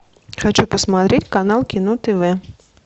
хочу посмотреть канал кино тв